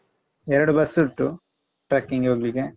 ಎರಡು ಬಸ್ ಉಂಟು Trekking ಗೆ ಹೋಗ್ಲಿಕ್ಕೆ.